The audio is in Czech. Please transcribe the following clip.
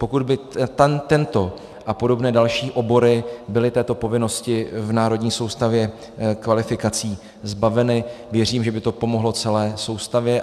Pokud by tento a podobné další obory byly této povinnosti v Národní soustavě kvalifikací zbaveny, věřím, že by to pomohlo celé soustavě.